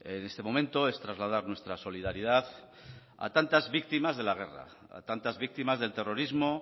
en este momento es trasladar nuestra solidaridad a tantas víctimas de la guerra a tantas víctimas del terrorismo